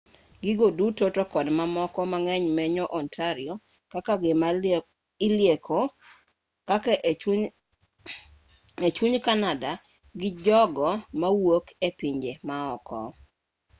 gigo duto to kod mamoko mang'eny menyo ontario kaka gima ilieko kaka e chuny canada gi jogo mawuok epinje maoko